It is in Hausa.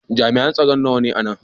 Jami'an tsaro nawa ne a nan?